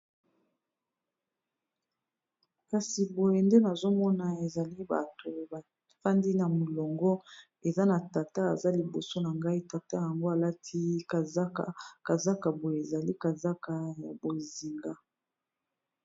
kasi boye nde nazomona ezali bato bafandi na molongo eza na tata aza liboso na ngai tata yango alati zakkazaka boye ezali kazaka ya bozinga